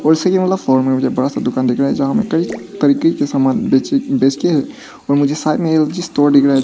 दो स्टोरी वाला मुझे बड़ा सा दुकान दिख रहा है जहां में कई तरीके के सामान बेच बेचके और मुझे साइड में स्टोर दिख रहा है जहां --